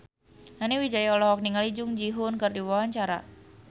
Nani Wijaya olohok ningali Jung Ji Hoon keur diwawancara